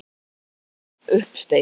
En ég var ekki með neinn uppsteyt.